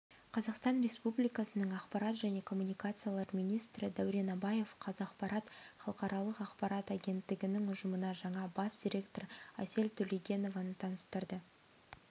қазақстан республикасының ақпарат және коммуникациялар министрі дәурен абаев қазақпарат халықаралық ақпарат агенттігінің ұжымына жаңа бас директор әсел төлегенованы таныстырды